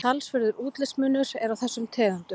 talsverður útlitsmunur er á þessum tegundum